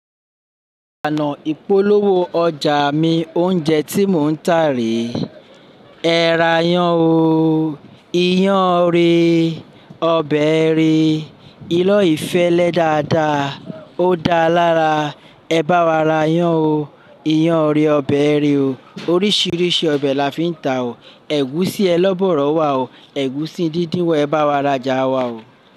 Oná ìpolówó ọjà mi oúnjẹ tí mò ń tà rè ẹ́ ra iyán o. Iyán rè, ọbẹ̀ rè, ilo yi fẹ́lẹ́ dáadáa ó dáa lára. Ẹ bá wa ra yán o. Iyán rè, ọbẹ̀ rè o. Oríṣiríṣi ọbẹ̀ la fi ń tà o. Ẹ̀gúsí ẹ lọ́ bọ̀rọ̀ wà o. Ẹ̀gúsí díndín wà. Ẹ bá wa ra jà wà o.